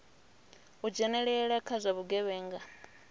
u dzhenelela kha zwa vhugevhenga